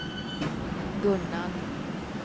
Gunnarn